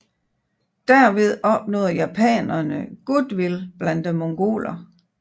Derved opnåede japanerne goodwill blandt mongolerne